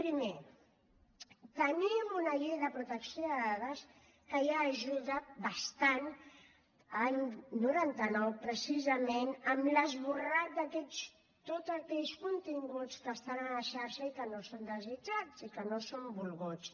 primer tenim una llei de protecció de dades que ja ajuda bastant any noranta nou precisament amb l’esborrat d’aquests tots aquells continguts que estan a la xarxa i que no són desitjats i que no són volguts